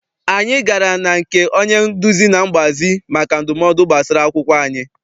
Anyị gara na nke onye nduzi na mgbazi maka ndumodu gbasara akwụkwọ anyị.